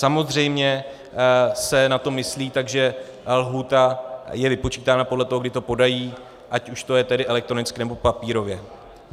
Samozřejmě se na to myslí, takže lhůta je vypočítána podle toho, kdy to podají, ať už to je tedy elektronicky, nebo papírově.